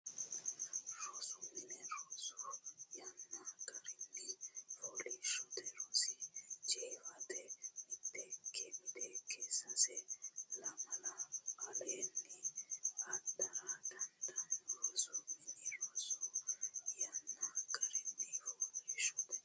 Rosu mini rosu yanna garinni fooliishshote rosi jeefate miteekke sase lamala aleenni adhara dandaanno Rosu mini rosu yanna garinni fooliishshote.